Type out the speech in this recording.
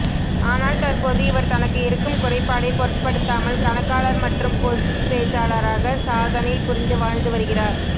ஆனால் தற்போது இவர் தனக்கு இருக்கும் குறைப்பாடை பொருட்படுத்தாமல் கணக்காளர் மற்றும் பொது பேச்சாளராக சாதனை புரிந்து வாழ்ந்து வருகிறார்